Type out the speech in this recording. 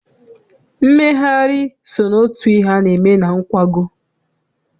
Mmegharị so n'otu ihe a na-eme na nkwago.